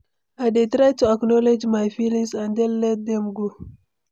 I dey try to acknowledge my feelings and then let dem go.